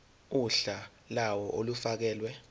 uhla lawo olufakelwe